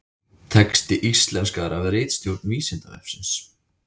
Texti íslenskaður af ritstjórn Vísindavefsins.